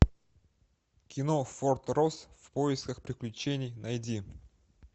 кино форт росс в поисках приключений найди